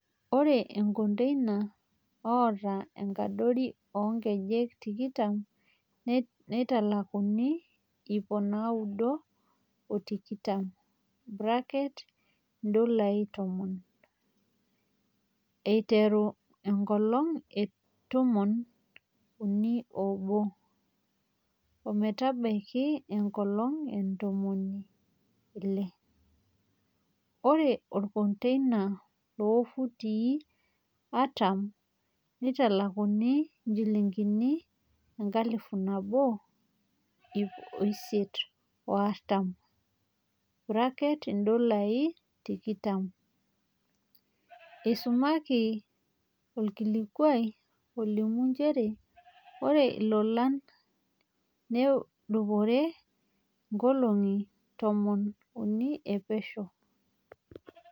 "Ore olkondeina loota enkadori ong'ejek tikitam neitalakuni iip naudo o tikitam (Indolai tomon) aiteru enkolong e tumon unii oobo ometabaiki enkolong o ntomoni ile ore olkondeina loofutii atam nitalakuni njilingini enkalifu naboo, iip isiet o artam (indolai tikitam)," eisumaki olkilikua olimu njere ore ilolan nedupore inkolongi ntomon unii e pesho.